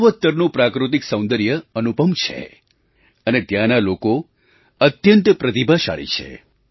પૂર્વોત્તરનું પ્રાકૃતિક સૌંદર્ય અનુપમ છે અને ત્યાંના લોકો અત્યંત પ્રતિભાશાળી છે